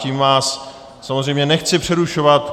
Tím vás samozřejmě nechci přerušovat.